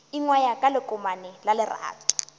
ingwaya ka lekomane la lerato